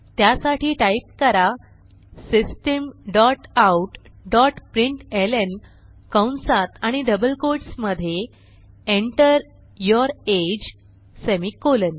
त्यासाठी टाईप करा system dot out dot println कंसात आणि डबल कोट्स मधे Enter यूर अगे सेमिकोलॉन